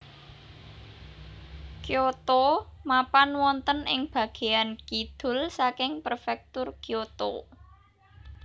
Kyoto mapan wonten ing bagéyan kidul saking Prefektur Kyoto